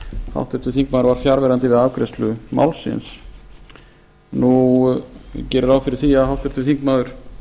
háttvirtur þingmaður var fjarverandi við afgreiðslu málsins ég geri ráð fyrir því að háttvirtur þingmaður